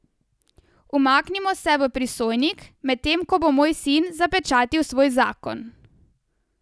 Umaknimo se v prisojnik, medtem ko bo moj sin zapečatil svoj zakon.